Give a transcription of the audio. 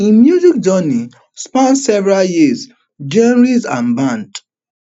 im music journey span several years genres and band